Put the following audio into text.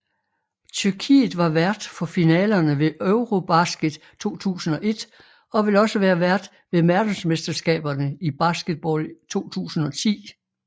Tyrkiet var vært for finalerne ved EuroBasket 2001 og vil også være vært ved verdensmesterskaberne i baskerball 2010